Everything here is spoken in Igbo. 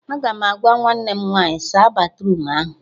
Aga m agwa nwanne m nwaanyị "saa batruum ahụ "